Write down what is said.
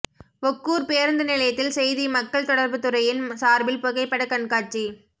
ஒக்கூர் பேருந்து நிலையத்தில் செய்தி மக்கள் தொடர்பு துறையின் சார்பில் புகைப்படக் கண்காட்சி